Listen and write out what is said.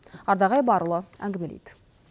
ардақ айбарұлы әңгімелейді